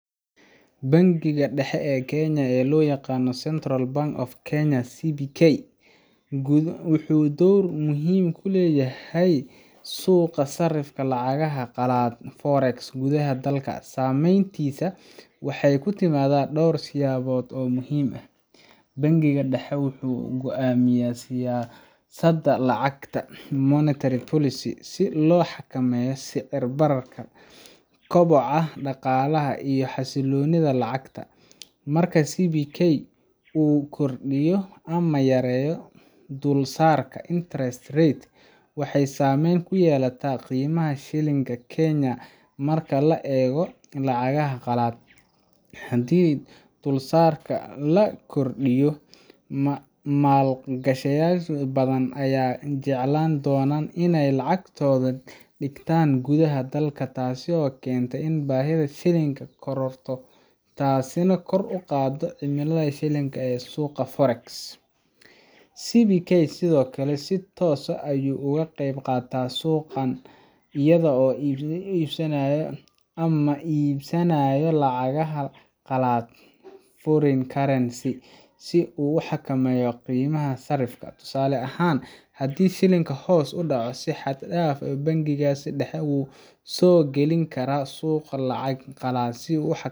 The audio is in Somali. Bangiga dhexe ee Kenya, oo loo yaqaan Central Bank of Kenya CBK, wuxuu door muhiim ah ku leeyahay suuqa sarifka lacagaha qalaad Forex gudaha dalka. Saameyntiisa waxay ku timaadaa dhowr siyaabood oo muhiim ah: Bangiga dhexe wuxuu go’aamiyaa siyaasadda lacagta monetary policy si loo xakameeyo sicir-bararka, koboca dhaqaalaha, iyo xasilloonida lacagta. Marka CBK uu kordhiyo ama yareeyo dulsaarka interest rate, waxay saameyn ku yeelataa qiimaha shilling-ka Kenya marka loo eego lacagaha qalaad. Haddii dulsaarka la kordhiyo, maalgashadayaal badan ayaa jecleysan doona inay lacagtooda dhigtaan gudaha dalka, taasoo keenta in baahida shilling-ka kororto, taasina kor u qaado qiimaha shilling-ka ee suuqa Forex CBK sidoo kale si toos ah ayuu uga qeyb qaataa suuqan iyada oo iibinaysa ama iibsanaysa lacagaha qalaad foreign currencies si uu u xakameeyo qiimaha sarifka. Tusaale ahaan, haddii shilling-ka hoos u dhaco si xad dhaaf ah, bangiga dhexe wuxuu soo gelin karaa suuqa lacag qalaad si uu u xakameeyo